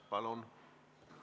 Palun!